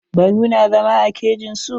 Baru na zama a kejin su.